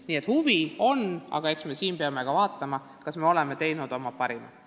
Nii et huvi on ja meie siin peame mõtlema, kas me oleme teinud oma parima.